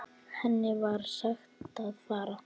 Henni var sagt að fara.